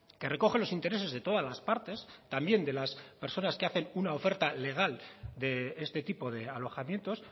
que recoge los intereses de todas las partes también de las personas que hacen una oferta legal de este tipo de alojamientos